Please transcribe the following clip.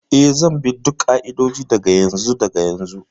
Ee, zan bi duk ƙa'idodi daga yanzu daga yanzu.